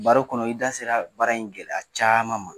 Baro kɔnɔ i da sera baara in gɛlɛya caman ma.